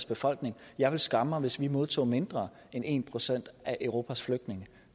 befolkning jeg ville skamme mig hvis vi modtog mindre end en procent af europas flygtninge